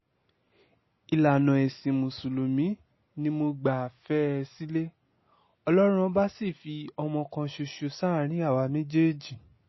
ìlànà ẹ̀sìn mùsùlùmí ni mo gbà fẹ́ ẹ sílé ọlọ́run ọba sì fi ọmọ kan ṣoṣo sáàrin àwa méjèèjì